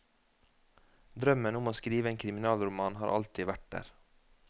Drømmen om å skrive en kriminalroman har alltid vært der.